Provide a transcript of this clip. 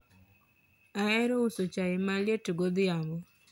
ahero uso chai maliet godhiambo